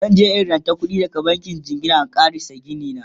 zanje in ranto kuɗi daga bankin jingina in ƙarasa Gini na